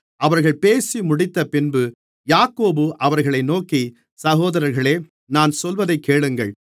அவர்கள் பேசி முடிந்தபின்பு யாக்கோபு அவர்களை நோக்கி சகோதரர்களே நான் சொல்வதைக் கேளுங்கள்